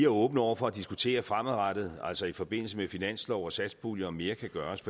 åbne over for at diskutere fremadrettet altså i forbindelse med finanslov og satspulje om mere kan gøres